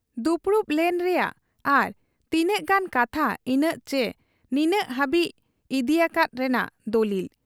ᱫᱩᱯᱩᱲᱩᱵ ᱞᱮᱱ ᱨᱮᱭᱟᱜ ᱟᱨ ᱛᱤᱱᱟᱹᱜ ᱜᱟᱱ ᱠᱟᱛᱷᱟ ᱤᱱᱟᱹᱜ ᱪᱤ ᱱᱤᱱᱟᱹᱜ ᱦᱟᱹᱵᱤᱡ ᱤᱫᱤᱭᱟᱠᱟᱫ ᱨᱮᱱᱟᱜ ᱫᱚᱞᱤᱞ ᱾